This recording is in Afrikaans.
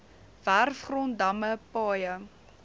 werfgrond damme paaie